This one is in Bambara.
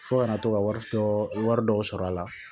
Fo kana to ka wari tɔ wari dɔw sɔrɔ a la